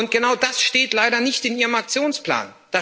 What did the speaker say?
Genau das steht leider nicht in Ihrem Aktionsplan.